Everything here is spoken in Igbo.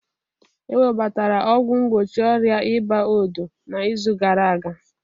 Ewebatara ọgwụ mgbochi ọrịa ịba odo n'izu gara aga